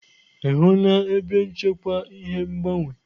Ị hụla ebe nchekwa ihe ngbanwe?